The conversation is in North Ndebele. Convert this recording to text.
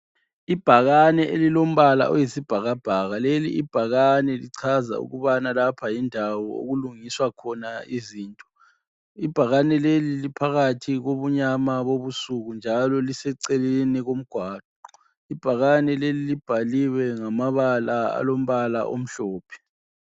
Ibhakane elilombala oyisibhakabhaka. Leli ibhakane lichaza ukubana lapha yikho okulungiswa izinto. Ibhakane leli liphakathi kobunyama bobusuku njalo liseceleni komgwaqo. Ibhakane leli lilombala omhlophe.